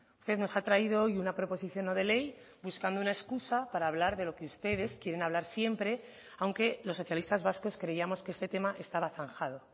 usted nos ha traído hoy una proposición no de ley buscando una excusa para hablar de lo que ustedes quieren hablar siempre aunque los socialistas vascos creíamos que este tema estaba zanjado